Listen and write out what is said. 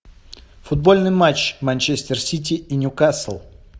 футбольный матч манчестер сити и ньюкасл